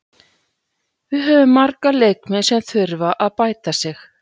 Við höfum marga leikmenn sem þurfa að bæta sig.